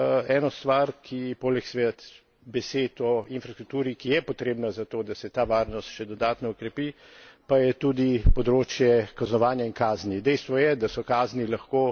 Sam bi dodal še eno stvar, poleg seveda besed o infrastrukturi, ki je potrebna zato, da se ta varnost še dodatno okrepi, pa je tudi področje kaznovanja in kazni.